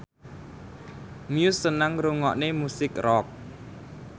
Muse seneng ngrungokne musik rock